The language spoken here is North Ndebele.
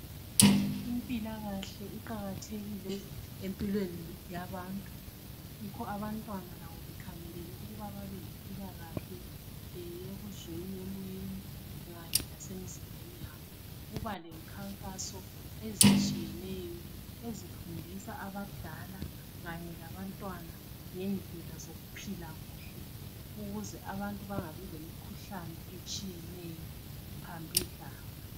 impilakahle iqalkathekile empilweni yabantu yikho abantwana labo bekhangelele ukuba babelempilakahle ekuzweni emoyeni kanye lase mzimbeni yabo kuba lekhankso ezitshiyeneyo ezifundisa abadala kanye labantwana ngendlela zokuphila kuhle ukuze abantu bengabi lemikhuhlane etshiyeneyo phambidlana